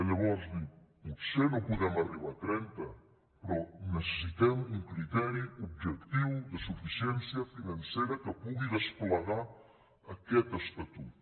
llavors dius potser no podem arribar a trenta però necessitem un criteri objectiu de suficiència financera que pugui desplegar aquest es·tatut